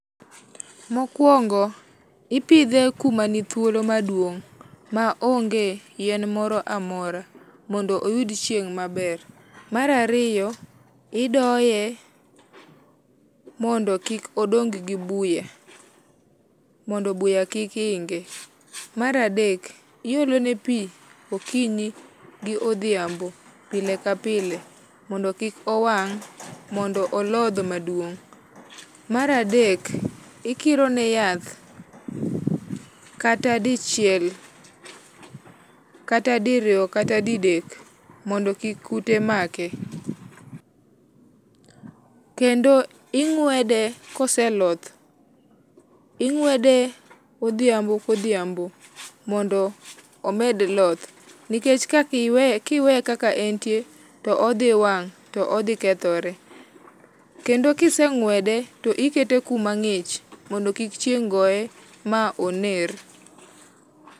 Mokuongo ipidhe kuma nithuolo maduong maonge yien moro amora mondo oyud chieng maber. Mar ariyo idoye mondo kikodong gi buya mondo buya kik ginge, mar adek iolone pii okinyi gi dhiambo pile ka pile mondo kik owang mondo olodh maduong. Mar adek ikiro ne yath. kata dichiel, kata diriyo kata didek mondo kute kik make. Kendo ingwede koseloth, ingwede odhiambo ka odhiambo mondo omed loth nikech ka iweye, kiweye kaka entie to odhi wang to odhi kethore. Kendo kisengwede tikete kuma ngich mondo kik chieng goye ma oner